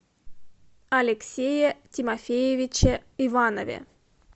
алексее тимофеевиче иванове